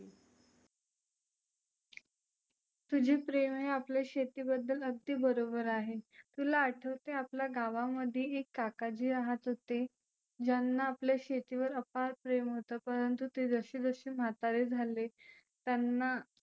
तुझे प्रेम आहे आपल्या शेतीबद्दल अगदी बरोबर आहे. तुला आठवते आपल्या गावामध्ये एक काकाजी रहात होते. ज्यांना आपल्या शेतीवर अफाट प्रेम होतं परंतु ते जसे जसे म्हातारे झाले त्यांना